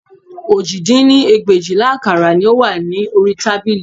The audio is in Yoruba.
Òjì dín ní ẹgbẹ̀éjìlá àkàrà òyìnbó ni ó wà ní orí tábìlì